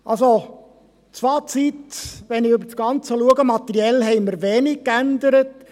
Das Fazit also, wenn ich mir das Ganze anschaue: Wir haben materiell wenig geändert.